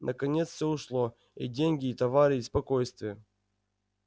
наконец всё ушло и деньги и товары и спокойствие